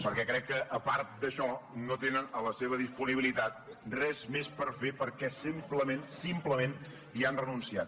perquè crec que a part d’això no tenen a la seva disponibilitat res més per fer perquè simplement hi han renunciat